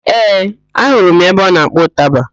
Ee, ahụrụ m ya ebe ọ na-akpọ ụtaba